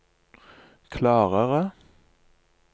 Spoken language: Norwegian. klarere